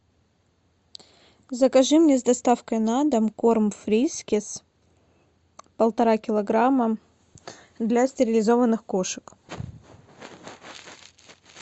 закажи мне с доставкой на дом корм фрискис полтора килограмма для стерилизованных кошек